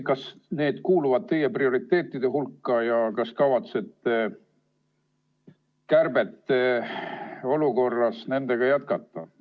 Kas need kuuluvad teie prioriteetide hulka ja kas te kavatsete kärbete olukorras nendega jätkata?